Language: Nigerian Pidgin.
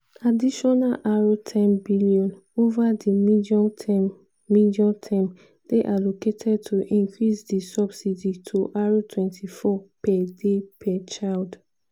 "additional r10 billion ova di medium term medium term dey allocated to increase di subsidy to r24 per day per child."